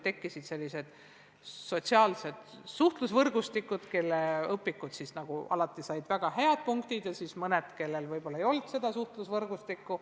Tekkisid sellised sotsiaalsed suhtlusvõrgustikud, kelle õpikud said alati väga head punktid, ja siis olid mõned, kellel võib-olla ei olnud seda suhtlusvõrgustikku.